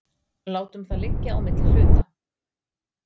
Látum það liggja á milli hluta.